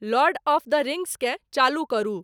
Lord of the रिंग्सकेँ चालू करू